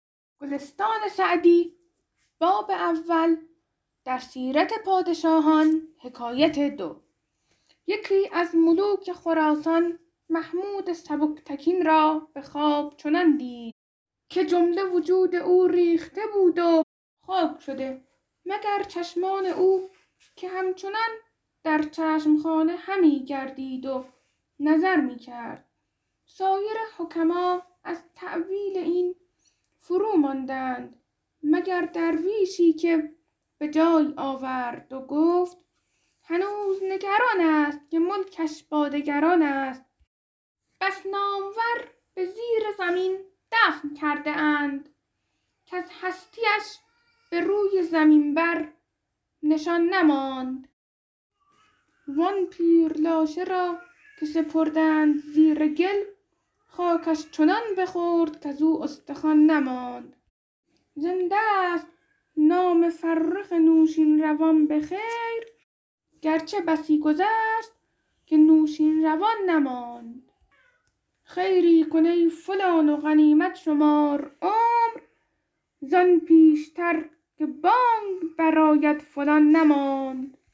یکی از ملوک خراسان محمود سبکتگین را به خواب چنان دید که جمله وجود او ریخته بود و خاک شده مگر چشمان او که همچنان در چشم خانه همی گردید و نظر می کرد سایر حکما از تأویل این فروماندند مگر درویشی که به جای آورد و گفت هنوز نگران است که ملکش با دگران است بس نامور به زیر زمین دفن کرده اند کز هستی اش به روی زمین بر نشان نماند وآن پیر لاشه را که سپردند زیر گل خاکش چنان بخورد کزو استخوان نماند زنده ست نام فرخ نوشین روان به خیر گرچه بسی گذشت که نوشین روان نماند خیری کن ای فلان و غنیمت شمار عمر زآن پیشتر که بانگ بر آید فلان نماند